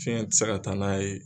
Fiyɛ ti se ka taa n'a ye